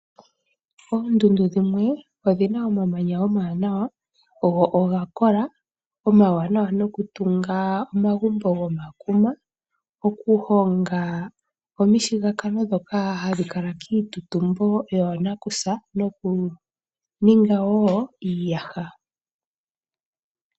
Oondundu dhimwe odhi na omamanya omawanawa go oga kola. Omawanawa noku tunga omagumbo gomakuma, oku honga omishigakano ndhoka hadhi kala kiitutumbo yoonakusa noku ninga woo iiyaha.